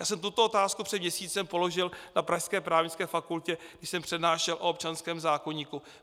Já jsem tuto otázku před měsícem položil na pražské Právnické fakultě, když jsem přednášel o občanském zákoníku.